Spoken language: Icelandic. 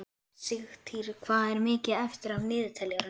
Sigtýr, hvað er mikið eftir af niðurteljaranum?